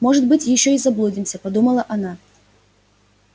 может быть ещё и заблудимся подумала она